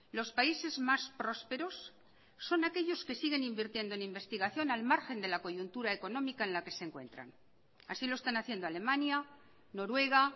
los países más prósperos son aquellos que siguen invirtiendo en investigación al margen de la coyuntura económica en la que se encuentran así lo están haciendo alemania noruega